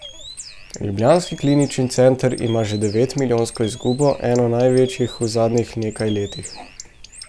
Ljubljanski klinični center ima že devetmilijonsko izgubo, eno največjih v zadnjih nekaj letih.